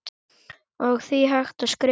og því hægt að skrifa